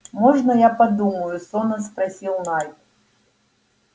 можно я подумаю сонно спросил найд